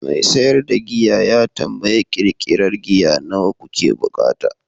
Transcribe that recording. mai siyar da giya ya tambayi ƙirƙirar giya nawa kuke buƙata?